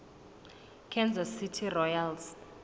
kansas city royals